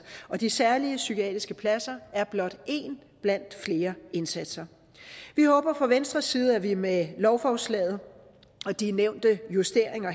og de særlige psykiatriske pladser er blot en blandt flere indsatser vi håber fra venstres side at vi med lovforslaget og de nævnte justeringer